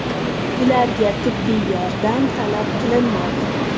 Ularga tibbiy yordam talab qilinmadi.